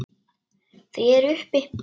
Þau eru uppi.